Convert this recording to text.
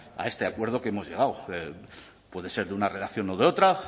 a este acuerdo que hemos llegado puede ser de una redacción o de otra